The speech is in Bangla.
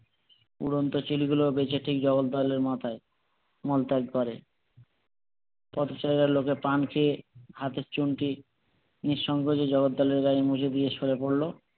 রংটা চলে গেলেও বেঁচে ঠিক জগদ্দলের মাথায় করে কত জায়গায় লোকে পান খেয়ে হাতের চুনটি নিঃসঙ্কোচে জগদ্দলের গায়ে মুছে দিয়ে সরে পড়লো